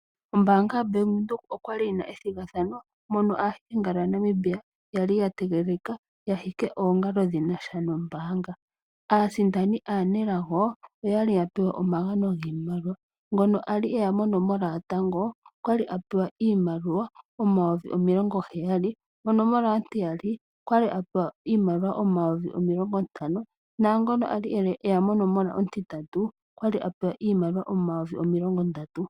Ombaanga yo Bank Windhoek okwali yi na ethigathano mono aahikingalo ya Namibia ya li ya tegelelika ya hike oongalo dhi na sha nombaanga. Aasindani aanelago oya li ya pewa omagano giimaliwa, ngono a li e ya monomola yotango okwali a pewa iimaliwa omayovi omilongo heyali, monomola ontiyali okwali a pewa iimaliwa omayovi omilongo ntano na ngono a li eya monomola ontintatu okwali a pewa iimaliwa omayovi omilongo ndatu.